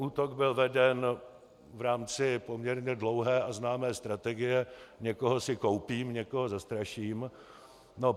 Útok byl veden v rámci poměrně dlouhé a známé strategie - někoho si koupím, někoho zastraším.